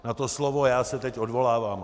Na to slovo já se teď odvolávám.